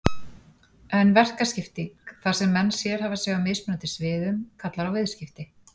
En verkaskipting, þar sem menn sérhæfa sig á mismunandi sviðum, kallar á viðskipti.